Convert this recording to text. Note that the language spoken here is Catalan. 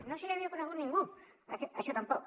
no se li havia ocorregut a ningú això tampoc